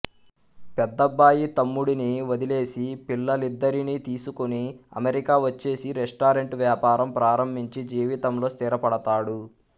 పెద్దబ్బాయి తమ్ముడిని వదిలేసి పిల్లలిద్దరినీ తీసుకుని అమెరికా వచ్చేసి రెస్టారెంట్ వ్యాపారం ప్రారంభించి జీవితంలో స్థిరపడతాడు